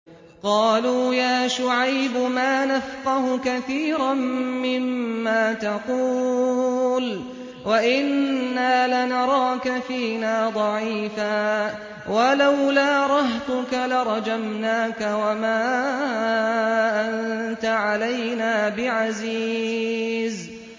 قَالُوا يَا شُعَيْبُ مَا نَفْقَهُ كَثِيرًا مِّمَّا تَقُولُ وَإِنَّا لَنَرَاكَ فِينَا ضَعِيفًا ۖ وَلَوْلَا رَهْطُكَ لَرَجَمْنَاكَ ۖ وَمَا أَنتَ عَلَيْنَا بِعَزِيزٍ